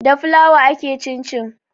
Da fulawa ake cin cin